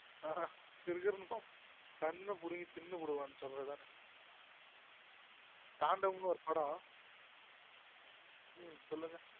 ஆஹா கிறுகிறு நு கண்ணபுடுங்கி தின்னுபுடுவன்னு சொல்லுவன் தாண்டவம்னு ஒரு படம் சொல்லுங்க